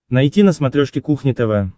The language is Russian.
найти на смотрешке кухня тв